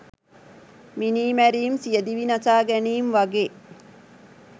මිනිමැරීම් සියදිවි නසා ගැනීම් වගේ